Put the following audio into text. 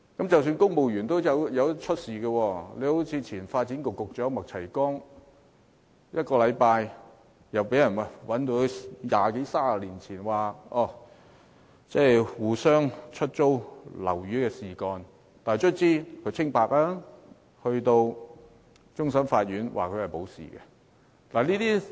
即使公務員亦會出事，例如前發展局局長麥齊光出任局長一星期，便被人揭發二三十年前曾與另一人互相出租物業，再向政府申請租金津貼，但最終終審法院判決他無罪，還了他清白。